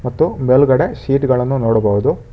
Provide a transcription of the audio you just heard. ಮತ್ತು ಮೇಲ್ಗಡೆ ಶೀಟ್ ಗಳನ್ನು ನೋಡಬಹುದು.